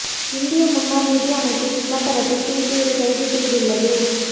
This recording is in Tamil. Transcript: இந்திய முன்னாள் நிதி அமைச்சர் சிதரம்பரத்தை சிஐபி கைது செய்துள்ளது